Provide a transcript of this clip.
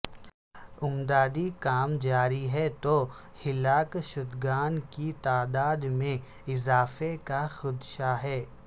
امدادی کام جاری ہیں تو ہلاک شدگان کی تعداد میں اضافے کا خدشہ ہے